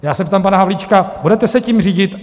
Já se ptám pana Havlíčka: Budete se tím řídit?